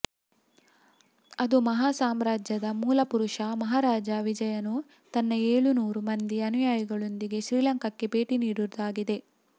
ಅದು ಮಹಾ ಸಾಮ್ರಾಜ್ಯದ ಮೂಲಪುರುಷ ಮಹಾರಾಜ ವಿಜಯನು ತನ್ನ ಏಳುನೂರು ಮಂದಿ ಅನುಯಾಯಿಗಳೊಂದಿಗೆ ಶ್ರೀಲಂಕಾಕ್ಕೆ ಭೇಟಿ ನೀಡಿರುವುದಾಗಿದೆ